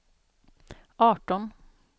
arton